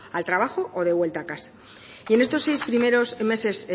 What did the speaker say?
al trabajo o de vuelta a casa y en estos seis primeros meses